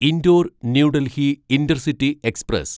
indoor New Delhi intercity express